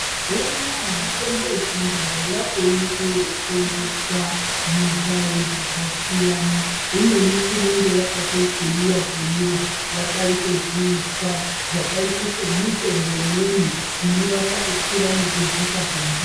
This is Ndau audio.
Mazuwanaa mitombo yechindau yakuonekwe yeitengeswa mundawu dzakasiyana imweni inenge yakatokuyiwa kuyiwa yakaite zviuswa zvakaite semitombo imweni inorapa kukwira nekudzika kwengazi.